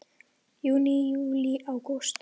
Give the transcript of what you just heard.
Júní Júlí Ágúst